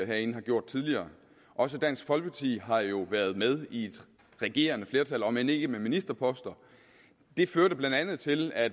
herinde har gjort tidligere også dansk folkeparti har jo været med i et regerende flertal om end ikke med ministerposter og det førte blandt andet til at